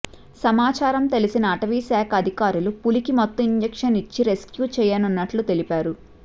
సమాచారం తెలిసిన అటవీశాఖ అధికారులు పులికి మత్తు ఇంజిక్షన్ ఇచ్చి రెస్క్యూ చేయనున్నట్లు తెలిపారు